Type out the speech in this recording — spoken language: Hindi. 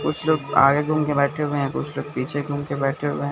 कुछ लोग आगे घूम के बैठे हुए हैं कुछ लोग पीछे घूम के बैठे हुए हैं।